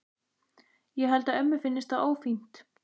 Ég held að ömmu finnist það ófínt.